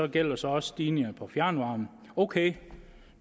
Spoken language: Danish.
gælder så også stigningerne på fjernvarme ok